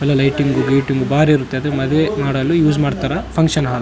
ಎಲ್ಲ ಲೈಟಿಂಗ್ ಗೀಟಿಂಗ್ ಬಾರಿ ಇರುತ್ತೆ ಅದು ಮದುವೆ ಮಾಡಲು ಯೂಸ್ ಮಾಡ್ತಾರ ಫಂಕ್ಷನ್ ಹಾಲ್ .